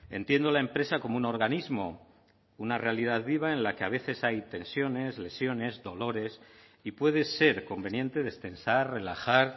entiendo la empresa como un organismo una realidad viva en la que a veces hay tensiones lesiones dolores y puede ser conveniente destensar relajar